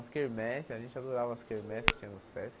As quermesse, a gente adorava as quermesse que tinha no Sesc.